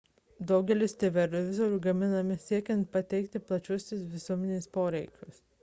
daugelis televizorių gaminami siekiant patenkinti plačiosios visuomenės poreikius